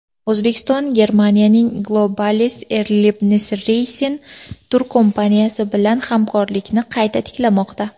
O‘zbekiston Germaniyaning Globalis Erlebnisreisen turkompaniyasi bilan hamkorlikni qayta tiklamoqda.